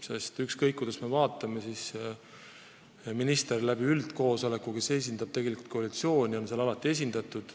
Sest ükskõik, kuidas me ka ei vaata – minister, kes kuulub koalitsiooni, on seal üldkoosolekuna alati esindatud.